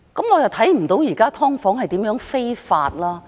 我看不到現時的"劏房"如何非法。